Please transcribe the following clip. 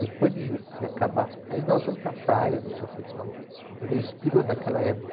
Depois de de acabar, aí nós vamos para a praia, não sei o que e tal, para ver o espírito daquela época.